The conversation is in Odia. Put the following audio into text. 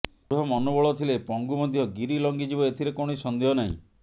ଦୃଢ ମନୋବଳ ଥିଲେ ପଙ୍ଗୁ ମଧ୍ୟ ଗିରି ଲଙ୍ଘିଯିବ ଏଥିରେ କୌଣସି ସନ୍ଦେହ ନାହିଁ